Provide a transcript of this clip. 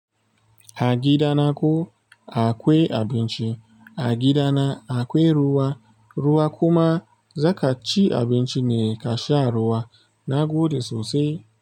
Agida na ko akwai abinci, agida na akwai ruwa, ruwa kuma. Zaka ci abinci ne ka sha ruwa na gode sosai.